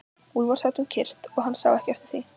Úlfar sat um kyrrt og hann sá ekki eftir því.